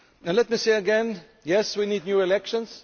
Let me say again Yes, we need new elections